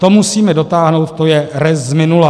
To musíme dotáhnout, to je rest z minuta.